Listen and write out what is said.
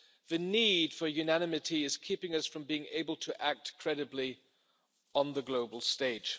The need for unanimity is keeping us from being able to act credibly on the global stage.